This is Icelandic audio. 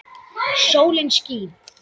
Sólin skín.